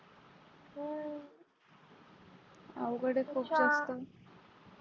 अवघड आहेत खूप जास्त